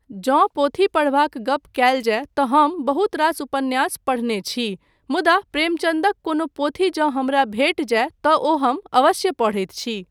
जँ पोथी पढ़बाक गप कयल जाय तँ हम बहुत रास उपन्यास पढ़ने छी मुदा प्रेमचन्दक कोनो पोथी जँ हमरा भेटि जाय तँ ओ हम अवश्य पढ़ैत छी।